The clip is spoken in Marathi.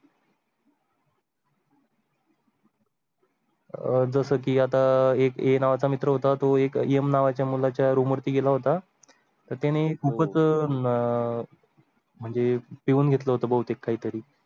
अह जसं की आता अह एक A नावाचा मित्र होता तो एक M नावाच्या मुलाच्या रूम वरती गेला होता, तर त्याने खूपच अह म्हणजे पिऊन घेतले होते बहुतेक काही तरी.